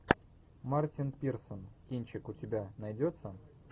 мартин пирсон кинчик у тебя найдется